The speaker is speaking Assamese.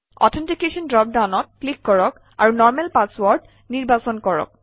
অথেণ্টিকেশ্যন ড্ৰপ ডাউনত ক্লিক কৰক আৰু নৰ্মেল পাছৱৰ্ড নিৰ্বাচন কৰক